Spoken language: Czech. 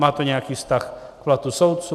Má to nějaký vztah k platu soudců?